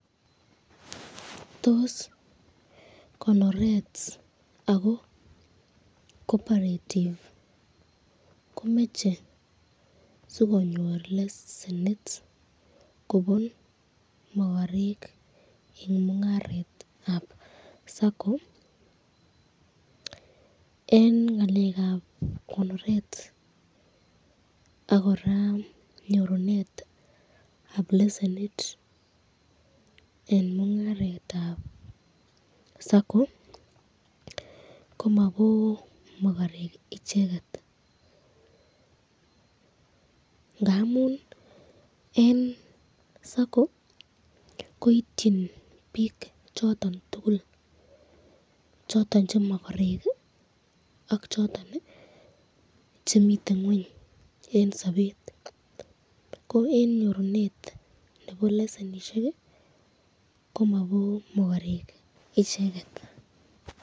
Tos konoret ako cooperative komache sikonyor lesenit Kobo makarek eng muraretab sacco?? eng ngalekab konoret ak koraa nyorunetab lesenit eng mungaretab sacco komabo makarek icheket ngamun eng sacco koityin bik choton tukul, choton che makarek ak choton chemiten ngweny eng sabet ,ko eng nyorunet nebo lesenit komabo makarek icheket.